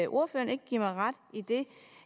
ordføreren ikke give mig ret i det